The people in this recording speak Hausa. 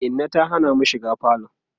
Inna ta Hana mu shiga falo